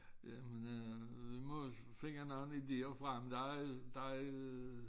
Ja men øh vi må finde nogen idéer frem der er der øh